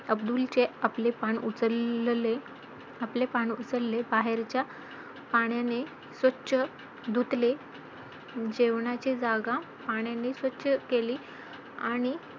अब्दुल चे आपले पान उचलले, बाहेरच्या पाण्याने स्वच्छ धुतले, जेवणाची जागा पाण्याने स्वच्छ केली आणि